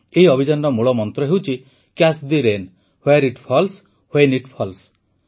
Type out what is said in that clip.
ଏହି ଅଭିଯାନର ମୂଳମନ୍ତ୍ର ହେଉଛି catch the rain where it falls when it falls